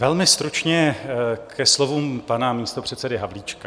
Velmi stručně ke slovům pana místopředsedy Havlíčka.